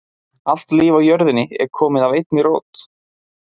Allt líf á jörðinni er komið af einni rót.